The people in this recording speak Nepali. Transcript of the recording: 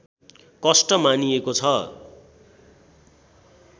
कष्ट मानिएको छ